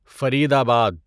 فرید آباد